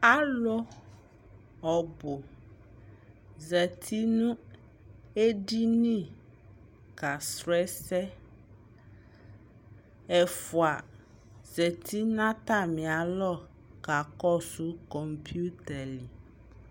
Alʋ ɔbʋ zati nʋ edini kasrɔ ɛsɛ Ɛfua zati nʋ atami alɔ kakɔsʋ kɔmpiuta lι